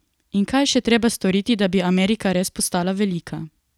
In kaj je še treba storiti, da bi Amerika res postala velika?